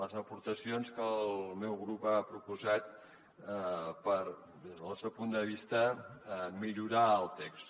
les aportacions que el meu grup ha proposat per des del nostre punt de vista millorar el text